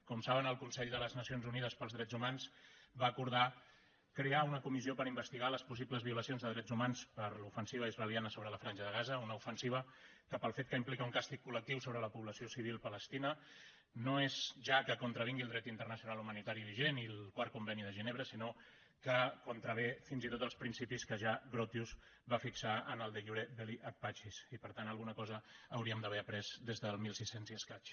com saben el consell de les nacions unides pels drets humans va acordar crear una comissió per investigar les possibles violacions de drets humans per l’ofensiva israeliana sobre la franja de gaza una ofensiva que pel fet que implica un càstig col·no és ja que contravingui el dret internacional humanitari vigent i el quart conveni de ginebra sinó que contravé fins i tot els principis que ja grotius va fixar en el de iure belli ac pacisríem d’haver après des del mil sis cents i escaig